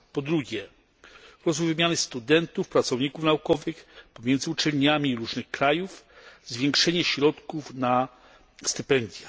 Po drugie wymiany studentów, pracowników naukowych pomiędzy uczelniami różnych krajów, zwiększenie środków na stypendia.